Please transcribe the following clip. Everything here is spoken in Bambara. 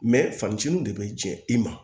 fanciniw de bɛ jɛ i ma